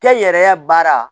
Kɛ yɛrɛ baara